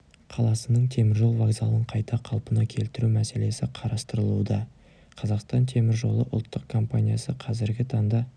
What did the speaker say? қаласының теміржол вокзалын қайта қалпына келтіру мәселесі қарастырылуда қазақстан темір жолы ұлттық компаниясы қазіргі таңда